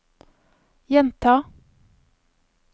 gjenta